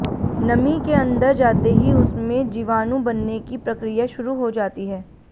नमी के अंदर जाते ही उसमें जीवाणु बनने की प्रक्रिया शुरू हो जाती है